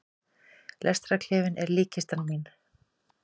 Lestarklefinn er líkkistan mín.